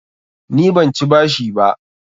Ni ban ci bashi ba.